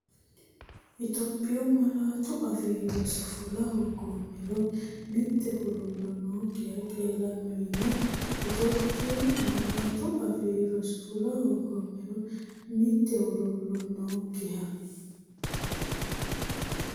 Itophiyu Malaatu Afii Roso fula hoogoommero mitte huluullo nookkiha qeelanno yiino Itophiyu Malaatu Afii Roso fula hoogoommero mitte huluullo nookkiha.